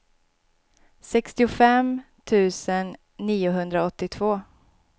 sextiofem tusen niohundraåttiotvå